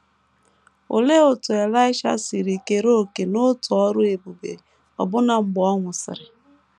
Olee otú Elaịsha si kere òkè n’otu ọrụ ebube ọbụna mgbe ọ nwụsịrị?